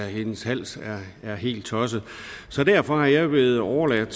og hendes hals er helt tosset så derfor er jeg blevet overladt